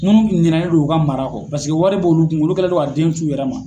Munnu ɲinɛnen don u ka mara kɔ . Paseke wari b'olu kun , olu kɛlen don ka den t'u yɛrɛ ma.